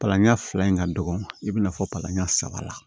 Palan ɲɛ fila in ka dɔgɔ i bɛna fɔ palan ɲɛ saba la